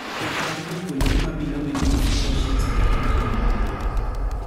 Pok mar jopuonjre ma Below Minimu Proficincy (BMP)